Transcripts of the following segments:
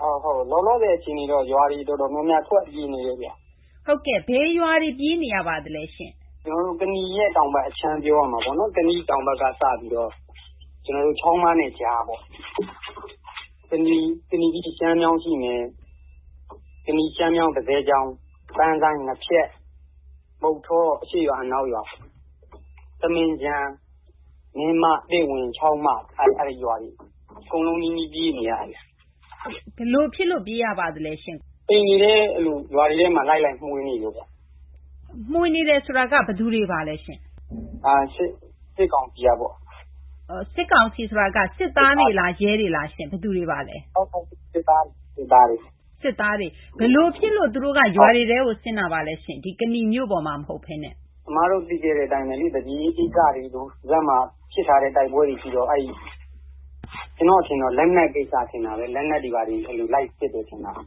လောလောဆယ်အခြေအနေကတော့ ရွာတွေတော်တော်များများ ထွက်ပြေးနေတယ်ခင်ဗျ။ ဘယ်ရွာတွေ ထွက်ပြေးနေရပါသလဲရှင့်။ ကနီရဲ့ တောင်ဘက်အခြမ်း ပြောရမှာပေါ့နော်။ ကနီရဲ့ တောင်ဘက်ကစပြီးတော့ ကျနော်တို့ချောင်ပန်းနဲ့ကြားပေါ့။ ကနီ ပြီးရင် ရှမ်းချောင်းရှိမယ်။ ကနီ၊ ရှမ်းမြောင်း၊ တဇယ်ချောင်၊ ပန်းဆိုင်း၊ ငါးဖျက်၊ မုဌော အရှေ့ရွာ- အနောက်ရွာ၊ သမင်းခြံ၊ မင်းမ၊ သင့်ဝင်၊ ချောင်းမ အဲဒီရွာတွေ အကုန်လုံးနီးနီးပြေးနေရတယ်။ ဘယ်လိုဖြစ်လို့ပြေးရပါသလဲရှင့်။ အိမ်တွေထဲ၊ ရွာတွေထဲမှာ လိုက်ပြီး မွှေနေလို့ပါ။ မွှေနေတယ်ဆိုတာက ဘယ်သူတွေပါလဲရှင့်။ စစ်ကောင်စီကပေါ့။ စစ်ကောင်စီဆိုတာက စစ်သားတွေလား၊ ရဲတွေလားရှင့် ။ ဘယ်သူတွေပါလဲ ။ စစ်သားတွေ ။ ဘယ်လို ဖြစ်လို့သူတို့က ရွာတွေထဲကို ဆင်းတာပါလဲရှင့်။ ဒီ ကနီမြို့ပေါ်မှာ မဟုတ်ပဲနှင့်။ အမတို့သိခဲ့တဲ့အတိုင်းပဲလေ။ သပြေအေး ကိစ္စတွေလို ဒီဘက်မှာ ဖြစ်ထားတဲ့ တိုက်ပွဲတွေရှိတော့။ ကျနော့် အထင်တော့ လက်နက်ကိစ္စလို့ထင်တာပဲ။ လက်နက်တွေဘာတွေ လိုက်စစ်တယ်ထင်တာပဲ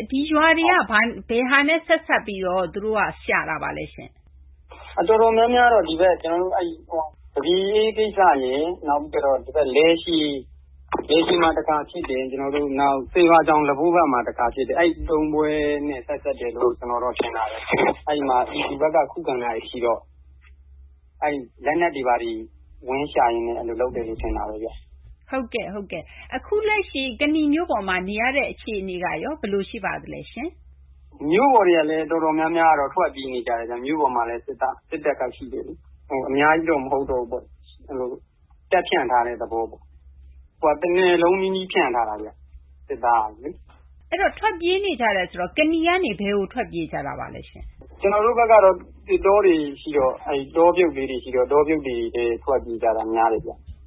။ ဒီရွာတွေမှာ ဘယ်ဟာနဲ့ဆက်စပ်ပြီးတော့ သူတို့က ရှာတာပါလည်းရှင့် ။ တော်တော်များများကတော့ ကျနော်တို့ဒီဘက် သပြေအေးကိစ္စရယ်၊ နောက်ပြီးတော့ လည်ရှည် မှာတခါဖြစ်တယ်။ တရွာတောင် လဘို့ဘက်မှာတခါဖြစ်တယ်။ အဲဒီ သုံးပွဲနဲ့ဆက်စပ်တယ်လို့တော့ ကျနော်ထင်တာပဲ။ အဲဒီမှာ ပြည်သူဘက်က ခုခံတာတွေရှိတော့ အဲဒီလက်နက်တွေဘာတွေ ဝင်ရှာရင်းနဲ့အဲလိုလုပ်တယ်လို့ထင်တာပဲ။ ဟုတ်ကဲ့။ အခုလက်ရှိ ကနီမြို့ပေါ်မှာ နေရတဲ့အခြေအနေကရော ဘယ်လိုရှိပါသလဲ။ မြို့ပေါ်တွေကလည်း တော်တော်များများကတော့ ထွက်ပြေးနေရတယ်။ မြို့ပေါ်မှာလည်း စစ်တပ်က ရှိတယ်လေ။ အများကြီးတော့ မဟုတ်ဘူးပေါ့။ တပ်ဖြန့်ထားတဲ့ သဘောပေါ့။ တနယ်လုံးနီးနီးဖြန့်ထားတာပေါ့။ စစ်သားတွေကိုလေ။ ထွက်ပြေးနေကြတယ်ဆိုတော့ ကနီကနေ ဘယ်ကိုထွက်ပြေးနေကြပါလဲရှင့်။ ကျနော်တို့ဘက်က သစ်တောတွေရှိတော့၊ အဲဒီတောပြုတ်ကလေးတွေရှိတော့ အဲဒီတောပြုတ်ကလေးတွေထဲ ထွက်ပြေးကြတာများတယ်။ တခြားမြို့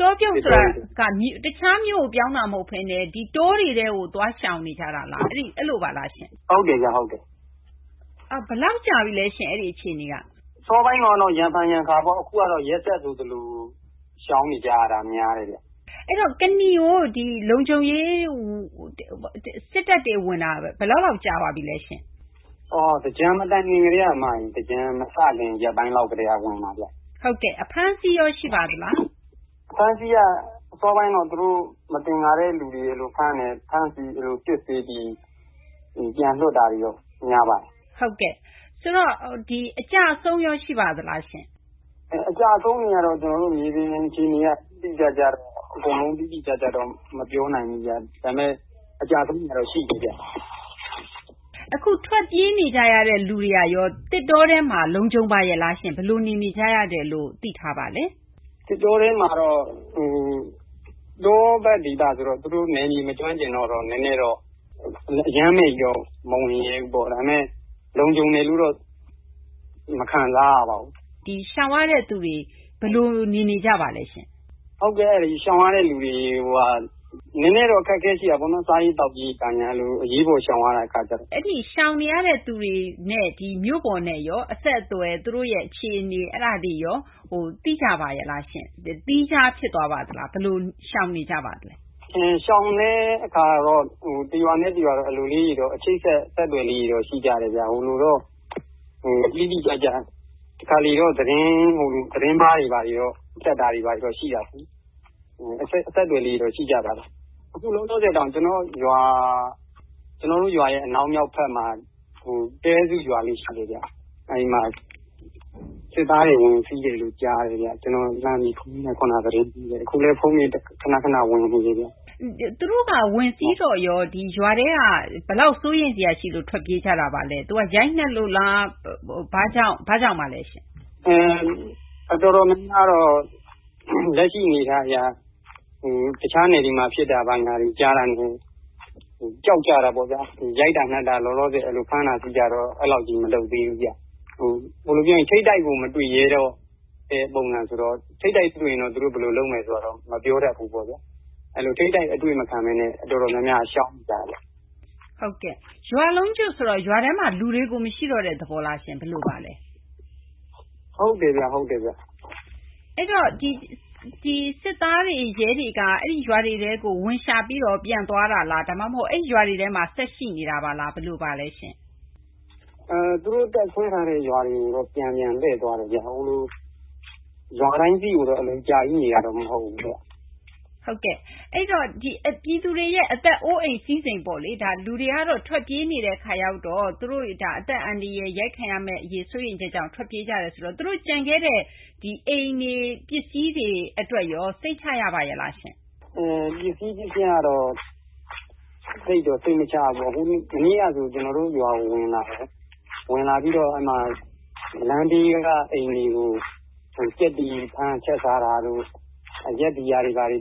ကို ပြောင်းတာမဟုတ်ပဲနဲ့ တောတွေထဲကို သွားရှောင်နေကြတာလား။ ဟုတ်တယ်ခင်ဗျ ။ ဟုတ်တယ်။ ဘယ်လောက်ကြာပြီလဲရှင့်။ အဲဒီအခြေအနေက။ အစောပိုင်းတုန်းကတော့ ရံဖန်ရံခါပေါ့။ အခုတော့ ရက်ဆက်ဆိုသလို ရှောင်နေရတာများတယ်။ အဲဒီတော့ ကနီကို လုံခြုံရေး စစ်တပ်တွေဝင်တာ ဘယ်လောက်ကြာပါပြီလဲရှင့်။ သင်္ကြန်မတိုင်ခင်ထဲက အမရေ။ သင်္ကြန်မစခင် ရက်ပိုင်းလောက်ကတည်းက။ အဖမ်အဆီးရောရှိပါသလား။ အဖမ်းအဆီးက အစောပိုင်းက မသင်္ကာတဲ့ လူတွေကို သူတို့ဖမ်းတယ်။ ဖမ်းပြီး စစ်ဆေးပြီး သူတို့ပြန်လွှတ်တာတွေက များပါတယ်။ ဟုတ်ကဲ့။ အကျအဆုံးရော ရှိပါသလားရှင့်။ အကျအဆုံးတွေက ကျနော်တို့မြေပြင်အခြေအနေအရ အကုန်လုံးကြီး တိတိကျကျတော့ မပြောနိုင်ဘူးခင်ဗျ။ ဒါပေမယ့် အကျအဆုံးတွေကတော့ ရှိနေတယ်။ အခုထွက်ပြေးနေကြတဲ့လူတွေကရော သစ်တောထဲမှာ လုံခြုံပါရဲ့လာရှင့်။ ဘယ်လို နေနေကြရတယ်လို့သိထားပါသလဲ။ သစ်တောထဲမှာကတော့ တောဘက်ဒေသတွေဆိုတော့ သူတို့နယ်မြေမကျွမ်းကျင်တော့ နည်းနည်းတော့ အရမ်းကြီးတော့ သူတို့မဝင်ရဲ့ဘူးပေါ့။ ဒါပေမယ့် လုံခြုံတယ်လို့တော့ မခံစားရပါဘူး။ ရှောင်ရတဲ့သူတွေ ဘယ်လို နေနေကြရပါသလဲရှင့်။ ရှောင်ရတဲ့သူတွေက စားရေးသောက်ရေး နည်းနည်းတော့ အခက်အခဲရှိတာပေါ့နော်။ အရေးပေါ်ရှောင်ရတဲ့ အခါကျတော့။ အဲဒီ ရှောင်နေရဲ့သူတွေနဲ့ရော ၊ မြို့ပေါ် အဆက်အသွယ်၊ သူတို့ရဲ့ အခြေအနေ၊ အဲ ဒါတွေရော သိကြပါရဲ့လားရှင့်။ သီးခြားဖြစ်သွားပါလား။ ဘယ်လို ရှောင်နေကြပါလဲ။ ရှောင်တဲ့အခါတော့ တရွာနဲ့တရွာကတော့ အချိတ်အဆက်လေးတွေတော့ ရှိကြတယ်ခင်ဗျ။ တခါတလေတော့ သတင်းမှားတွေ ဘာတွေတော့ တက်တာတွေရှိပါတယ်။ အဆက်အသွယ်လေးတွေတော့ ရှိကြပါတယ်။ အခုလောလောဆယ်တောင် ကျနော်တို့ရွာရဲ့ အနောက်မြောက်ဘက်မှာ တဲစုရွာလေးရှိတယ်ခင်ဗျ။ အဲဒီမှာ စစ်သားတွေ ဝင်စီးတယ်လို့ကြားတယ် ခင်ဗျ။ ကျနော်လှမ်းပြီး ခုနက သတင်းကြည့်တယ်။ အခုလည်း ဖုန်းတွေ ခဏခဏ ဝင်နေတယ်။ သူတို့က ခဏ ခဏ ဝင်စီးတော့ ရွာထဲက ဘယ်လောက် စိုးရိမ်စရာရှိလို့ထွက်ပြေးကြပါသလဲ။ ရိုက်နှက်လို့လား။ ဘာ့ကြောင့်ပါသလဲ။ တော်တော်များများကတော့ လက်ရှိအနေအထားအရ တခြားနယ်တွေမှာ ဖြစ်တာကို ကြားတာကို ကြောက်ကြတာပေါ့ဗျာ။ ရိုက်တာ၊နှက်တာ၊ ဖမ်းတာ၊ဆီးတာတော့ အဲလောက်ကြီး မလုပ်သေးဘူးဗျ။ ထိပ်တိုက်ကို မတွေ့သေးတဲ့ ပုံစံဆိုတော့။ ထိပ်တိုက်တွေ့ရင် ဘယ်လိုလုပ်မလဲဆိုတာတော့ မပြောတတ်ဘူး။ ထိပ်တိုက်အတွေ့မခံပဲနဲ့ တော်တော်များများက ရှောင်နေကြတယ်။ ရွာလုံးကျွတ်ဆိုတော့ ရွာထဲမှာ လူတွေ မရှိတော့တဲ့သဘောလားရှင့်။ ဟုတ်တယ်ဗျ။ ဟုတ်တယ်။ စစ်သားတွေ၊ ရဲတွေက အဲဒီရွာတွေထဲကို သူတို့ဝင်ရှာပြီးတော့ ပြန်သွားတာလား။ ဒါမှ မဟုတ် အဲဒီရွာတွေထဲမှာ ဆက်ရှိနေတာပါလား။ ဘယ်လိုပါလဲရှင့်။ သူတို့တပ်စွဲထားတဲ့ ရွာတွေကို တော့ ပြန်ပြန်လှည့်သွားတယ်။ ဟိုလို ရွာတိုင်းမှာတော့ အကြာကြီးနေတာတော့ မဟုတ်ဘူး။ ဟုတ်ကဲ့။ အဲဒီတော့ ပြည်သူတွေရဲ့ အသက်အိုးအိမ် စည်းစိမ်ပေါ့လေ။ လူတွေက အသက်အန္တရာယ်အရေး၊ ရိုက်ခံရမယ့်အရေးကြောင့် ထွက်ပြေးနေကြရတဲ့ အခါ သူတို့ ကျန်ခဲ့တဲ့ အိမ်တွေ ပစ္စည်တွေအတွက်ရော စိတ်ချရပါရဲ့လားရှင့်။ ပစ္စည်း ပစ္စယကတော့ သိပ်ပြီး စိတ်မချရပါဘူး။ မနေ့ကဆို သူတို့ကျနော်တို့ရွာကို ဝင်လာတယ်။ ဝင်လာပြီးတော့ လမ်ဘေးကအိမ်တွေကို ဝင်ပြီး ကြက်တွေဖမ်းချက်စားတာတို့၊ အရက်ဘီယာတွေ တွေ့